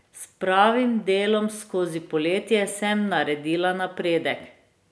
S pravim delom skozi poletje sem naredila napredek.